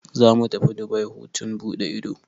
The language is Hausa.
Zamu tafi Dubai hutun buɗe ido.